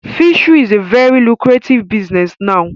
Fishery is a very lucrative business now